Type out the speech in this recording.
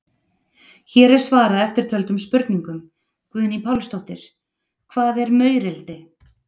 Hér er svarað eftirtöldum spurningum: Guðný Pálsdóttir: Hvað er maurildi?